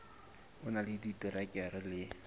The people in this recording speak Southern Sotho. o na le diterekere le